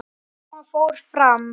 Mamma fór fram.